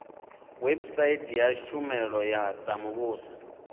website ya tshumelo dza muvhuso